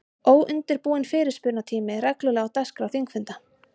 Óundirbúinn fyrirspurnatími er reglulega á dagskrá þingfunda.